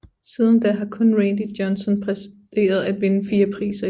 Siden da har kun Randy Johnson præsteret at vinde 4 priser i træk